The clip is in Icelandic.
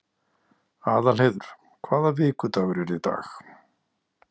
Aðalheiður, hvaða vikudagur er í dag?